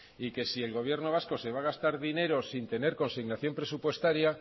y que si el gobierno vasco se va a gastar dineros sin tener consignación presupuestaria